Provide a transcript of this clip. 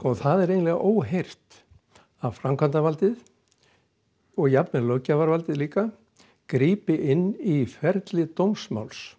það er eiginlega óheyrt að framkvæmdavaldið og jafnvel löggjafarvaldið líka grípi inn í ferli dómsmáls